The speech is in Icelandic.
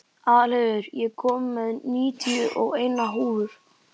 Aðalheiður, ég kom með níutíu og eina húfur!